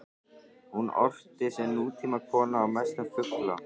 Hún orti sem nútímakona og mest um fugla.